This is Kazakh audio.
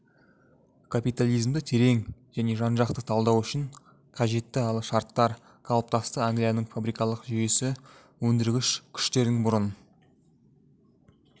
капитализмді терең және жан-жақты талдау үшін қажетті алғы шарттар қалыптасты англияның фабрикалық жүйесі өндіргіш күштердің бұрын